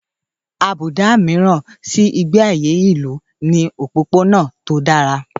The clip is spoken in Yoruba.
Àbùdá mìíràn ti Ìgbé ayé ìlú ni òpópónà tó dára.